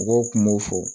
Mɔgɔw kun b'o fɔ